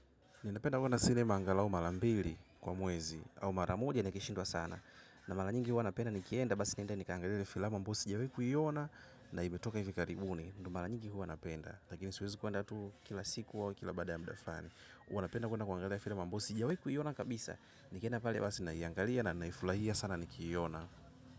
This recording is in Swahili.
Ninapenda kwedna sinema angalau mara mbili kwa mwezi au mara moja nikishindwa sana. Na mara nyingi hua napenda nikienda basi niende nikaangalie filamu ambayo sijawahi kuiona na imetoka hivi karibuni. Mara nyingi hua napenda. Lakini siwezi kwenda tu kila siku au kila baada ya mda fulani. Huwa napenda kwenda kuangalia filamu ambayo sijawahi kuiona kabisa. Nikienda pale basi naiangalia na naifurahia sana nikiiona.